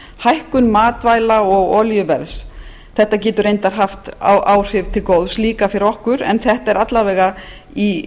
hækkun matvæla og olíuverðs þetta getur reyndar haft áhrif til góðs líka fyrir okkur en þetta er alla vega í